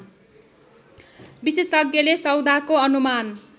विशेषज्ञले सौदाको अनुमान